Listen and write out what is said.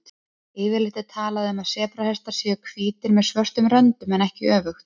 Yfirleitt er talað um að sebrahestar séu hvítir með svörtum röndum en ekki öfugt.